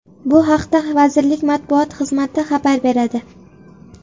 Bu haqda vazirlik matbuot xizmati xabar beradi .